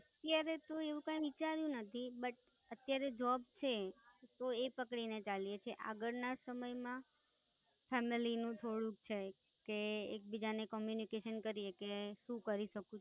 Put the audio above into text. અત્યારે તો એવું કઈ વિચાર્યું નથી Bat અત્યારે Job છે તો એ પકડીને ચાલીએ તો આગળના સમયમાં Family નું થોડુંક છે કે એકબીજાને Communication કરીએ કે કરીશું કરી શકીએ.